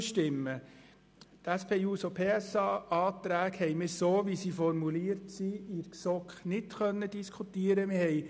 Die SP-JUSO-PSA-Anträge haben wir so, wie sie formuliert sind, in der GSoK nicht diskutieren können.